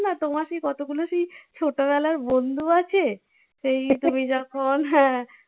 না তোমার সেই কতগুলো সেই ছোটোবেলা বন্ধু আছে সেই তুমি যখন হ্যাঁ